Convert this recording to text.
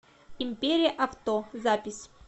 империя авто запись